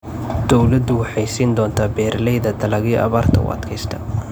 Dawladdu waxay siin doontaa beeralayda dalagyo abaarta u adkaysta.